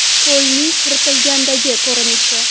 Ko‘lning quritilgandagi ko‘rinishi.